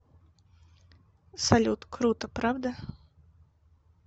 салют круто правда